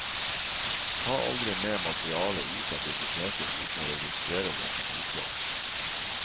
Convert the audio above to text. Ta aldri med materiale ut av biblioteket uten å registrere det som utlån.